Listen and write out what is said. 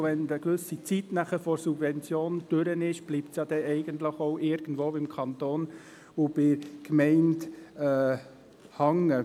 Und wenn die Periode der Subventionierung dereinst abgelaufen ist, bleiben die Ausgaben ja eigentlich am Kanton und an der Gemeinde hängen.